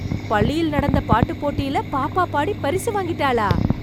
பள்ளியில் நடந்த பாட்டுப் போட்டியில, பாப்பா பாடி, பரிசு வாங்கிட்டாளா...